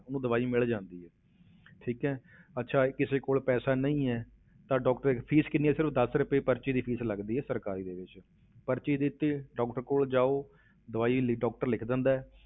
ਉਹਨੂੰ ਦਵਾਈ ਮਿਲ ਜਾਂਦੀ ਹੈ ਠੀਕ ਹੈ ਅੱਛਾ ਕਿਸੇ ਕੋਲ ਪੈਸਾ ਨਹੀਂ ਹੈ ਤਾਂ doctor ਦੀ fees ਕਿੰਨੀ ਹੈ ਸਿਰਫ਼ ਦਸ ਰੁਪਏ ਪਰਚੀ ਦੀ fees ਲੱਗਦੀ ਹੈ ਸਰਕਾਰੀ ਦੇ ਵਿੱਚ, ਪਰਚੀ ਦਿੱਤੀ doctor ਕੋਲ ਜਾਓ ਦਵਾਈ ਲਿ~ doctor ਲਿਖ ਦਿੰਦਾ ਹੈ